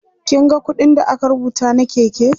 kin ga ƙuɗin da aka rubuta na Keke?